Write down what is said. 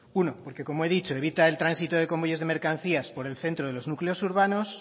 uno porque como he dicho evita el tránsito de convoyes de mercancías por el centro de los núcleos urbanos